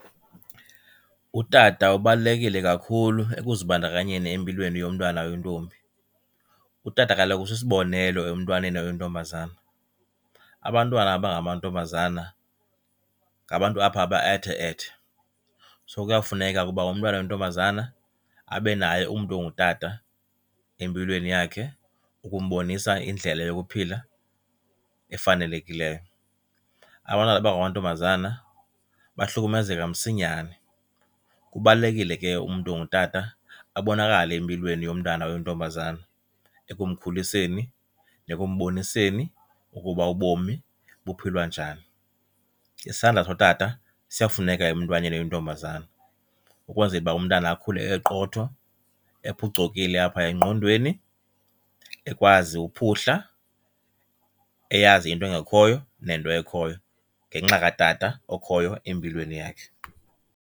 Utata ubalulekile kakhulu ekuzibandakanyeni empilweni yomntwana oyintombi. Utata kaloku usisibonelo emntwaneni oyintombazana. Abantwana abangamantombazana ngabantu apha aba ethe-ethe so kuyafuneka ke uba umntwana oyintombazana abe naye umntu ongutata empilweni yakhe ukumbonisa indlela yokuphila efanelekileyo. Abantwana abangamantombazana bahlukumezeka msinyane. Kubalulekile ke umntu ongutata abonakale empilweni yomntana oyintombazana, ekumkhuliseni, ekumboniseni ukuba ubomi buphilwa njani. Isandla sotata siyafuneka emntwaneni oyintombazana ukwenzela uba umntana akhule eqotho, ephucukile apha engqondweni, ekwazi ukuphuhla, eyazi into engekhoyo nento ekhoyo ngenxa katata okhoyo empilweni yakhe.